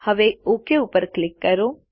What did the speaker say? હવે ઓક ઉપર ક્લિક કરો